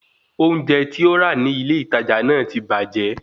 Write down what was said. Oúnjẹ tí ó ra ní ilé ìtajà náà ti bàjẹ́